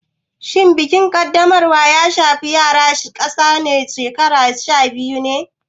Shin bikin Kaddamarwa ya shafi yara ƙasa da shekaru sha biyu ne?